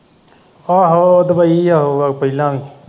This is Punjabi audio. ਆਹੋ ਉਹ ਦੁੱਬਈ ਗਿਆ ਹੋਊਗਾ ਪਹਿਲਾਂ ਵੀ।